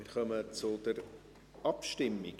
Wir kommen zur Abstimmung.